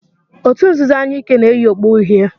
òtù nzuzo anyụike na-eyi okpu uhie.